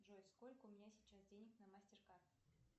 джой сколько у меня сейчас денег на мастеркард